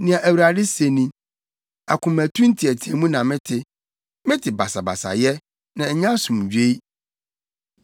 “Nea Awurade se ni: “ ‘Akomatu nteɛteɛmu na mete, mete basabasayɛ, na ɛnyɛ asomdwoe.